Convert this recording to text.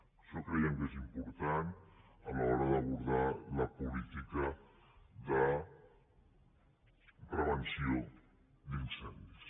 això creiem que és important a l’hora d’abordar la política de prevenció d’incendis